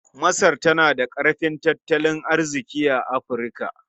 Masar tana da ƙarfin tattalin arziƙi a Afirka.